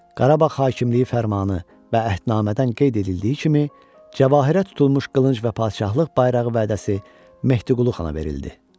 Qarabağ hakimliyi fərmanı və əhdnamədən qeyd edildiyi kimi Cəvahirdə tutulmuş qılınc və padşahlıq bayrağı vədəsi Mehdiqulu xana verildi.